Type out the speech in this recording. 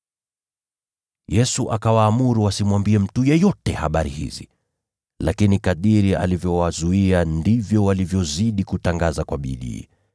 Yesu akawaamuru wasimwambie mtu yeyote habari hizi. Lakini kadiri alivyowazuia, ndivyo walivyozidi kutangaza kwa bidii.